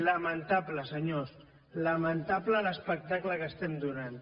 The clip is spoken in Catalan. lamentable senyors lamentable l’espectacle que estem donant